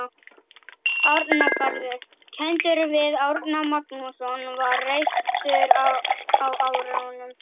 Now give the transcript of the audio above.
Árnagarður, kenndur við Árna Magnússon, var reistur á árunum